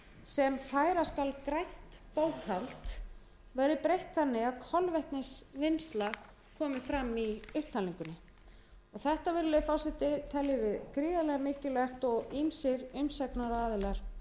sem færa skal grænt bókhald verði breytt þannig að kolvetnisvinnsla komi fram í upptalningunni þetta virðulegi forseti teljum við gríðarlega mikilvægt og ýmsir umsagnaraðilar komu